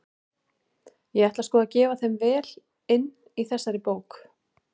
Ég ætla sko að gefa þeim vel inn í þessari bók!